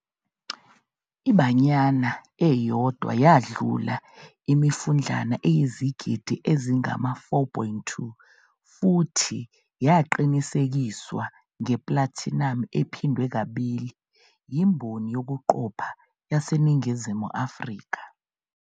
I- "Banyana" eyodwa yadlula imifudlana eyizigidi ezingama-4.2 futhi yaqinisekiswa ngeplatinamu ephindwe kabili yimboni yokuqopha yaseNingizimu Afrika.